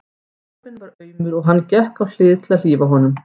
Kálfinn var aumur og hann gekk á hlið til að hlífa honum.